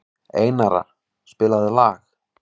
Einara, spilaðu lag.